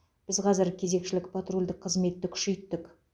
біз қазір кезекшілік патрульдік қызметті күшейттік